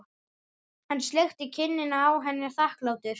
Hann sleikti kinnina á henni þakklátur.